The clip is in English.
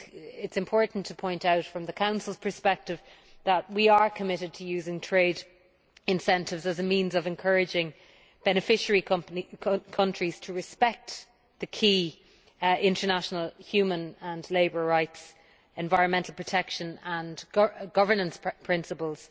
It is important to point out, from the Council's perspective, that we are committed to using trade incentives as a means of encouraging beneficiary countries to respect the key international human and labour rights, environmental protection standards and governance principles